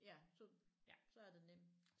Ja så så er det nemt